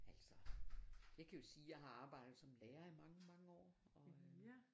Altså jeg kan jo sige jeg har arbejdet som lærer i mange mange år og øh